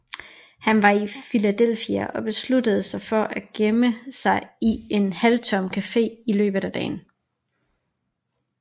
Han var i Philadelphia og besluttede sig for at gemme sig i en halvtom café i løbet af dagen